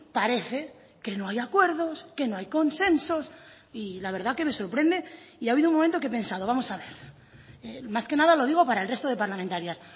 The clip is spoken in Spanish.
parece que no hay acuerdos que no hay consensos y la verdad que me sorprende y ha habido un momento que he pensado vamos a ver más que nada lo digo para el resto de parlamentarias